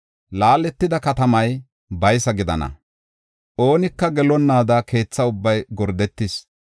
Laaletida katamay baysa gidana; oonika gelonnaada keetha ubbay gordetis.